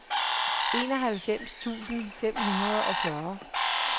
enoghalvfems tusind fem hundrede og fyrre